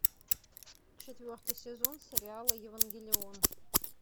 четвертый сезон сериала евангелион